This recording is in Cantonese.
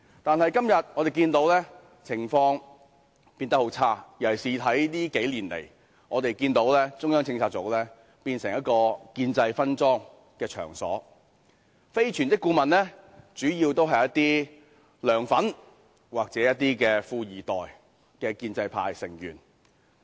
但是，今天我們看到情況變得很差，尤其近數年，我們看到中策組變成建制分贓的場所，非全職顧問主要是"梁粉"或"富二代"的建制派成員。